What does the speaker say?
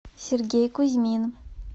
сергей кузьмин